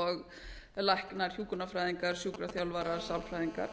og læknar hjúkrunarfræðingar sjúkraþjálfarar sálfræðingar